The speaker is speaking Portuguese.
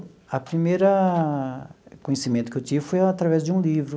A primeira conhecimento que eu tive foi através de um livro.